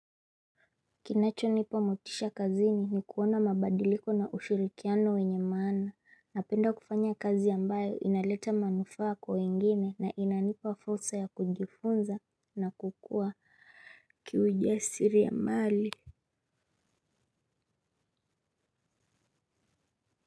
Kinachonipa motisha kazini ni kuona mabadiliko na ushirikiano wenye maana. Napenda kufanya kazi ambayo inaleta manufaa kwa wengine na inanipa fursa ya kujifunza na kukua kiuja siri ya mali.